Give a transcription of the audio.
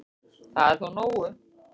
Það er þó nógu